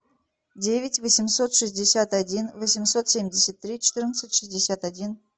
девять восемьсот шестьдесят один восемьсот семьдесят три четырнадцать шестьдесят один